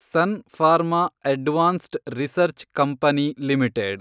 sun Pharma Advanced Research Company limited